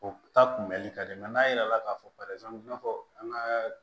O ta kunbɛli ka di n'a yela k'a fɔ i n'a fɔ an ka